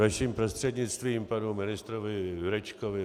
Vaším prostřednictvím panu ministrovi Jurečkovi.